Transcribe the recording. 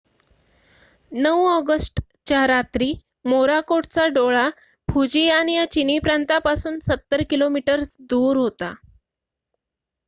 9 ऑगस्टच्या रात्री मोराकोटचा डोळा फुजियान या चिनी प्रांतापासून सत्तर किलोमीटर्स दूर होता